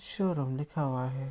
Showroom लिखा हुआ है।